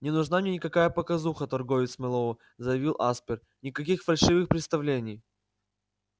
не нужна мне никакая показуха торговец мэллоу заявил аспер никаких фальшивых представлений